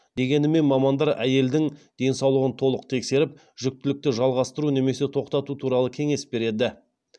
дегенмен мамандар әйелдің денсаулығын толық тексеріп жүктілікті жалғастыру немесе тоқтату туралы кеңес береді